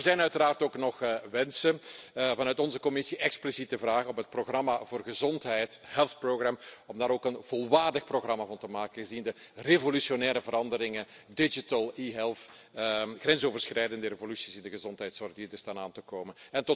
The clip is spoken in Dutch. Maar er zijn uiteraard ook nog wensen vanuit onze commissie, expliciete vragen op het programma voor gezondheid, Health Programme, om daar ook een volwaardig programma van te maken, gezien de revolutionaire veranderingen, digital e health, grensoverschrijdende evoluties in de gezondheidszorg die eraan zitten te komen.